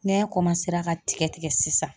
ŋɛɲɛ ka tigɛ tigɛ sisan